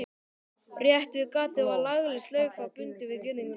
Rétt við gatið var lagleg slaufa bundin við girðinguna.